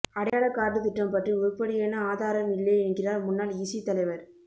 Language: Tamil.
அடையாளக் கார்டு திட்டம் பற்றி உருப்படியான ஆதாரம் இல்லை என்கிறார் முன்னாள் இசி தலைவர்